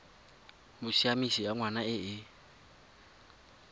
bosiamisi ya ngwana e e